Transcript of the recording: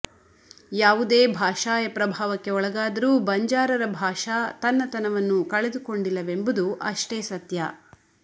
ಯಾವುದೇ ಭಾಷಾಯ ಪ್ರಭಾವಕ್ಕೆ ಒಳಗಾದರೂ ಬಂಜಾರರ ಭಾಷಾ ತನ್ನತನವನ್ನು ಕಳೆದುಕೊಂಡಿಲ್ಲವೆಂಬುದು ಅಷ್ಟೇ ಸತ್ಯ